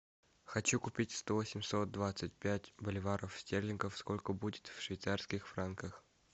хочу купить сто восемьсот двадцать пять боливаров стерлингов сколько будет в швейцарских франках